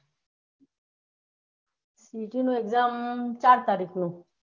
CAT નું exam ચાર તારીખે